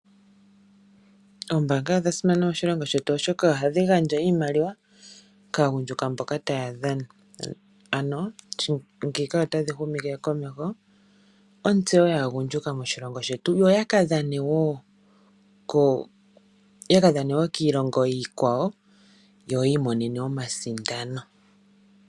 Oombanga odha simana moshilongo shetu oshoka ohadhi gandja iimaliwa kaagundjuka mboka taya dhana ano ngeyi otadhi humitha komeho ontseyo yaagundjuka moshilongo shetu yo taka dhane woo kiilongo iikwawo yo yi imonene omasindano